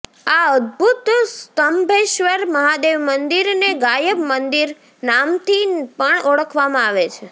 આ અદભૂત સ્તંભેશ્વર મહાદેવ મંદિરને ગાયબ મંદિર નામથી પણ ઓળખવામાં આવે છે